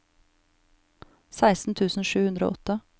seksten tusen sju hundre og åtte